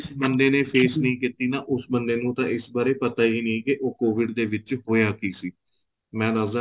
ਜਿਸ ਬੰਦੇ ਨੇ phase ਨਹੀਂ ਕੀਤੀ ਨਾ ਉਸ ਬੰਦੇ ਨੂੰ ਤਾਂ ਇਸ ਬਾਰੇ ਪਤਾ ਹੀ ਨਹੀਂ ਕੇ ਉਹ covid ਦੇ ਵਿੱਚ ਹੋਇਆ ਕਿ ਸੀ ਮੈਂ ਦੱਸਦਾ